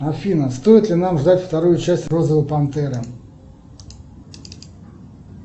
афина стоит ли нам ждать вторую часть розовой пантеры